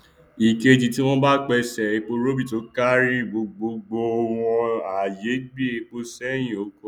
ẹẹkejì tí wọn bá pèsè eporọbì tó káárí gbogbo gbòò wọn á yéé gbé èpò sẹhìn ọkọ rìn